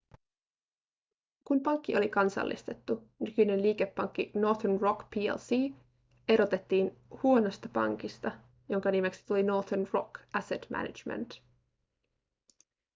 kun pankki oli kansallistettu nykyinen liikepankki northern rock plc erotettiin huonosta pankista jonka nimeksi tuli northern rock asset management